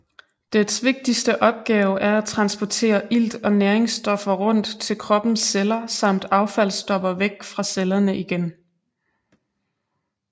Dets vigtigste opgave er at transportere ilt og næringsstoffer rundt til kroppens celler samt affaldsstoffer væk fra cellerne igen